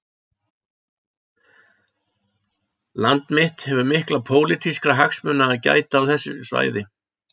Land mitt hefur mikilla pólitískra hagsmuna að gæta á þessu svæði